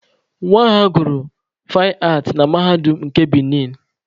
Nwa ha gụrụ faịn aatị na Mahadum nke Benin